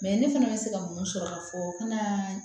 Mɛ ne fana bɛ se ka mun sɔrɔ ka fɔ kana